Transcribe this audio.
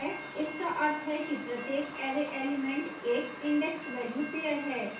इसका array है कि प्रत्येक array element एक indexvalue pair है